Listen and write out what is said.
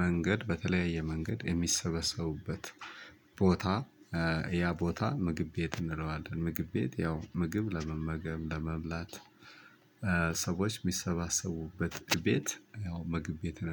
መንገድ በተለያየ መንገድ የሚሰበሰቡበት ቦታ ያ ቦታ ምግብ ቤት እንለዋለን ምግብ ቤት ያው ምግብ ለመመገብ ለመብላት ሰዎች የሚሳባሰቡበት ቤት ያው ምግብ ቤት እንለዋለን